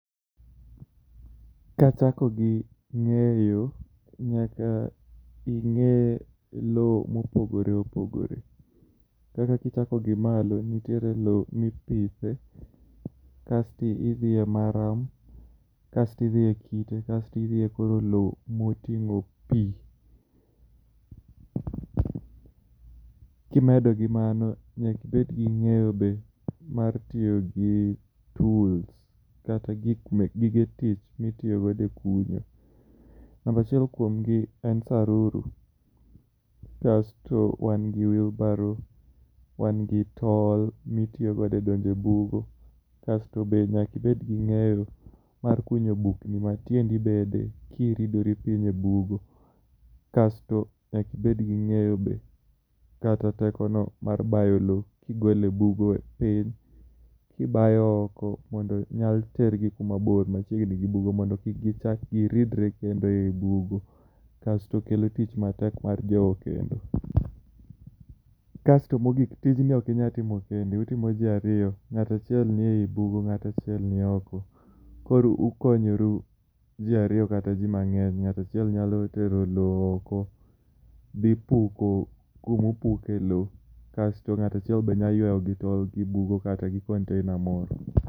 Kachako gi ng'eyo, nyaka ing'e lowo mopogore opogore. Kaka kichako gi malo nitiere lowo mipithe, kasto idhi e maram, kasto idhi e kite kasto koro idhi elowo moting'o pi. Kimedo gi mano, nyaka ibed gi ng'eyo be mar tiyo gi tuls kata gige tich mitiyo godo e kunyo.. Namba achiel kuomgi en saruru, kasto wan gi wheekbarrow kasto wan gi tol, to nyaka ibed gi ng'eyo mar kunyo bugni matieni bede kiridori piny e bugo. Kasto nyaka ibed gi ng'eyo kata tekono mar bayo lowo kigolo e bugo piny kibayo oko mondo nyal tergi kuma bor, ok machiegni gi bugo mondo kik gichak giridre kendo ei bugo. To kelo tich matek mar jowo kendo. Kasto mogik, tijni ok inyal timo kendi, utimo ji ariyo, ng'ato achiel ni ei bugo to ng'ato ac hiel ni oko. Koro ukonyoru ji ariyo kata ji mang'eny. Ng'ato achiel nyalo tero lowo oko dhi puko kuma opuke lowo kasto ng'ato achiel bende nyalo yuayo gi tol kata gi container moro.